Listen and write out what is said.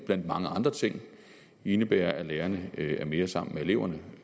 blandt mange andre ting indebærer at lærerne er mere sammen med eleverne